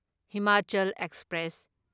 Himachal express